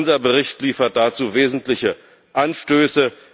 Unser Bericht liefert dazu wesentliche Anstöße.